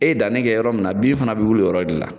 E ye danni kɛ yɔrɔ min na , bin fana be wuli o yɔrɔ de la.